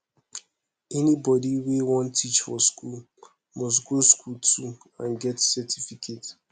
anybody wey won teach for school must go school too and get certificate